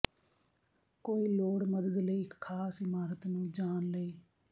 ਕੋਈ ਲੋੜ ਮਦਦ ਲਈ ਇੱਕ ਖਾਸ ਇਮਾਰਤ ਨੂੰ ਜਾਣ ਲਈ